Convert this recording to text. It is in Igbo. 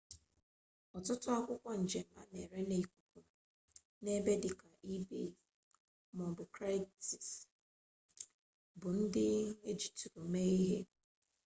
ọtụtụ akwụkwọ njem a na-ere n'ikuku n'ebe dịka ebay maọbụ kraigslist bụ ndị ejitụrụ mee ihe